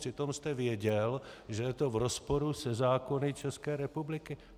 Přitom jste věděl, že je to v rozporu se zákony České republiky.